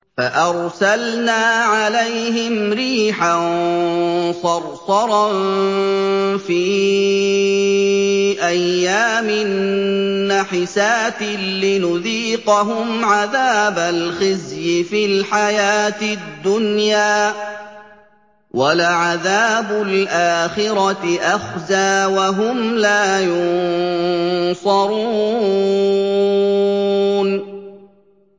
فَأَرْسَلْنَا عَلَيْهِمْ رِيحًا صَرْصَرًا فِي أَيَّامٍ نَّحِسَاتٍ لِّنُذِيقَهُمْ عَذَابَ الْخِزْيِ فِي الْحَيَاةِ الدُّنْيَا ۖ وَلَعَذَابُ الْآخِرَةِ أَخْزَىٰ ۖ وَهُمْ لَا يُنصَرُونَ